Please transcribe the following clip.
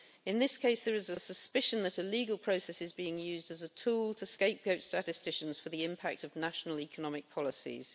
In this case, there is a suspicion that a legal process is being used as a tool to scapegoat statisticians for the impact of national economic policies.